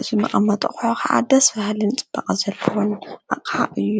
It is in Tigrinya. እዝ መቐመጠዂሖ ኽዓደስ ብሃልን ጽበቕ ዘልዉን ኣቕሓ እዩ።